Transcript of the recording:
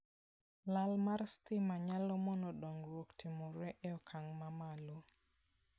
Lal mar stima nyalo mono dongruok timore e okang' mamalo.